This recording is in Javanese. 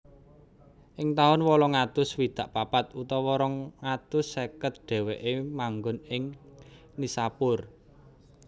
Ing taun wolung atus swidak papat utawa rong atus seket dhèwèké manggon ing Nishapur